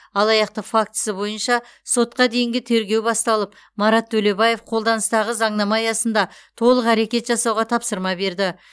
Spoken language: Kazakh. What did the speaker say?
алаяқтық фактісі бойынша сотқа дейінгі тергеу басталып марат төлебаев қолданыстағы заңнама аясында толық әрекет жасауға тапсырма берді